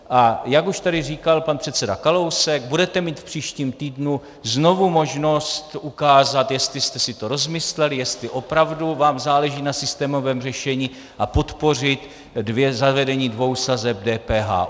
A jak už tady říkal pan předseda Kalousek, budete mít v příštím týdnu znovu možnost ukázat, jestli jste si to rozmysleli, jestli opravdu vám záleží na systémovém řešení, a podpořit zavedení dvou sazeb DPH.